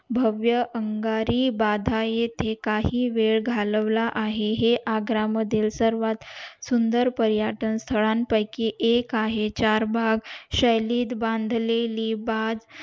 भवव्य आगरी भाधा येथे काही वेळ घालवला आहे हे आग्रा मधील सर्वात सुंदर पर्यटन स्थळा पयकी एक आहे चारभाग शैलीत बांधलेली बाग